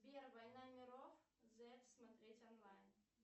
сбер война миров зет смотреть онлайн